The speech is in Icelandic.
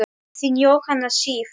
Þín, Jóhanna Sif.